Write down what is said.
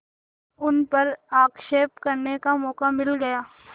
उन पर आक्षेप करने का मौका मिल गया